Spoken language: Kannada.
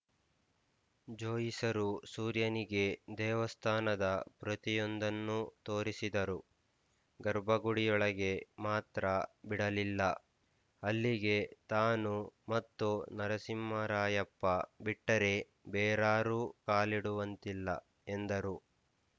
ಜೋಯಿಸರು ಸೂರ್ಯನಿಗೆ ದೇವಸ್ಥಾನದ ಪ್ರತಿಯೊಂದನ್ನೂ ತೋರಿಸಿದರು ಗರ್ಭಗುಡಿಯೊಳಗೆ ಮಾತ್ರ ಬಿಡಲಿಲ್ಲ ಅಲ್ಲಿಗೆ ತಾನು ಮತ್ತು ನರಸಿಂಹರಾಯಪ್ಪ ಬಿಟ್ಟರೆ ಬೇರಾರೂ ಕಾಲಿಡುವಂತಿಲ್ಲ ಎಂದರು